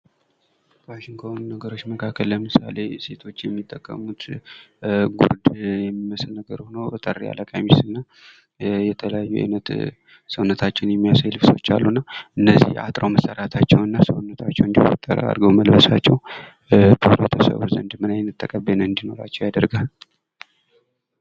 ፋሽን ከሆኑ ነገሮች መካከል ለምሳሌ ሴቶች የሚጠቀሙት ጉርድ የሚመስለው ሆኖ አጠር ያለ ቀሚስና የተለያዩ አይነት ሰውነታቸውን የሚያሳይ ልብሶች አሉና እነዚህ አጥረው መሠራታቸው ሰውነታቸውን እንደወጠረ አድርገው መልበሳቸው በህብረተሰቡ ዘንድ ምን አይነት ተቀባይነት እንዲኖር ያደርጋል?